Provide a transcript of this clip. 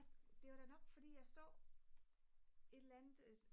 det var da nok fordi jeg så et eller andet